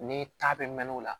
Ni ta bɛ mɛn o la